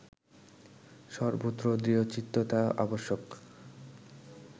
সর্বত্র দৃঢ়চিত্ততা আবশ্যক